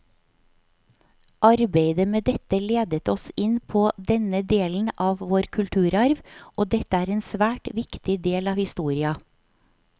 Arbeidet med dette ledet oss inn på denne delen av vår kulturarv, og dette er en svært viktig del av historia.